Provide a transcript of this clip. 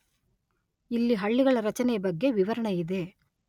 ಇಲ್ಲಿ ಹಳ್ಳಿಗಳ ರಚನೆಯ ಬಗ್ಗೆ ವಿವರಣೆ ಇದೆ.